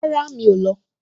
Rárá, mi ò lọ